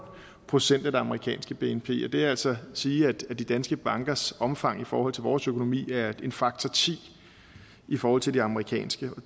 procent af det amerikanske bnp og det vil altså sige at de danske bankers omfang i forhold til vores økonomi er en faktor ti i forhold til de amerikanske